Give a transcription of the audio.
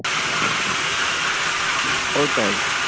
ওটাই